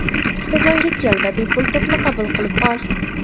Stadionga kel va bepul to‘pni qabul qilib ol!